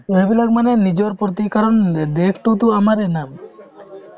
এইবিলাক মানে নিজৰ প্ৰতিকৰণ অ আমাৰে না